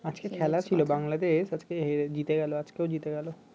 আজকে খেলা ছিল বাংলাদেশ আজকে জিতে গেল আজকেও জিতে গেল